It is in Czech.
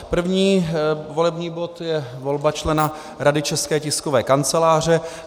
První volební bod je volba člena Rady České tiskové kanceláře.